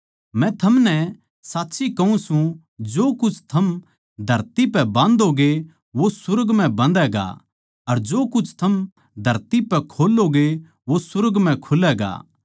मै थमनै साच्ची कहूँ सूं जो कुछ थम धरती पै बांधैगे वो सुर्ग म्ह बंधैगा अर जो कुछ थम धरती पै खोल्लोगे वो सुर्ग म्ह खुलैगा